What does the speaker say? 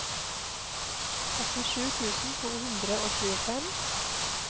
åttisju tusen to hundre og tjuefem